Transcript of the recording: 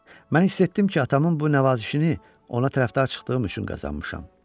Mən hiss etdim ki, atamın bu nəvazişini ona tərəfdar çıxdığım üçün qazanmışam.